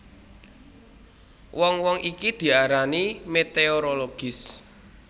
Wong wong iki diarani meteorologis